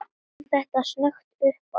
Kom þetta snöggt uppá?